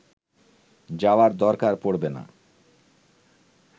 যাওয়ার দরকার পড়বে না